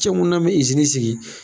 Cɛmu na n bɛ sigi.